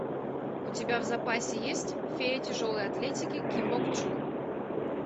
у тебя в запасе есть фея тяжелой атлетики ким бок чжу